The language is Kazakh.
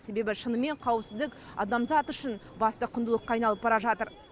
себебі шынымен қауіпсіздік адамзат үшін басты құндылыққа айналып бара жатыр